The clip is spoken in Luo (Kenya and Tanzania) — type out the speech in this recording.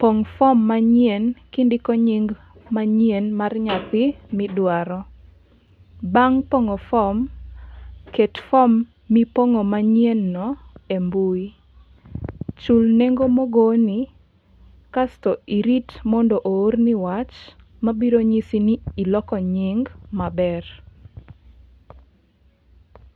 Pong' form manyien kindiko nying manyien mar nyathi midwaro. Bang' pong'o form ket form manyien no e mbui. Chul nengo mogoni kasto irit mondo oorni wach mabiro nyisi ni iloko nying maber